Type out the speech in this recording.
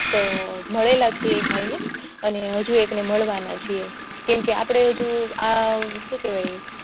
ના એક મળેલા છે એક ભાઈ ને અને હજુ એક ને મળવાના છે આપણે હજજુ આ શું કેવાય